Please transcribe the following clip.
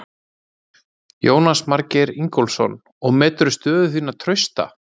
Jónas Margeir Ingólfsson: Og meturðu stöðu þína trausta?